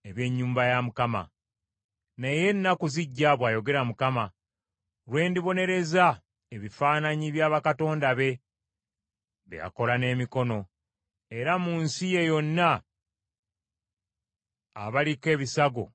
“Naye ennaku zijja,” bw’ayogera Mukama , “lwe ndibonereza ebifaananyi bya bakatonda be, be yakola n’emikono, era mu nsi ye yonna, abaliko ebisago balisinda.